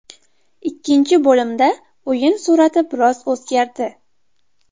Ikkinchi bo‘limda o‘yin surati biroz o‘zgardi.